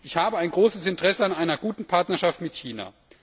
Ich habe ein großes Interesse an einer guten Partnerschaft mit China.